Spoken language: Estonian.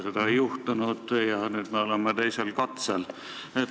Seda ei juhtunud ja nüüd me oleme teisel katsel.